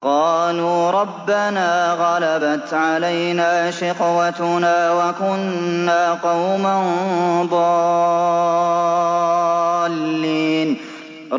قَالُوا رَبَّنَا غَلَبَتْ عَلَيْنَا شِقْوَتُنَا وَكُنَّا قَوْمًا ضَالِّينَ